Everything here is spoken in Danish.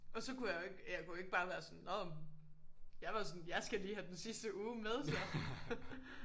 Og så kunne jeg jo ikke jeg kunne jo ikke bare være sådan nåh men jeg var sådan jeg skal lige have den sidste uge med så